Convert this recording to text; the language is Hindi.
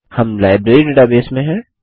हम लाइब्रेरी डेटाबेस में हैं